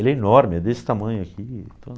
Ele é enorme, é desse tamanho aqui,